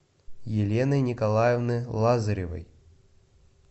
елены николаевны лазаревой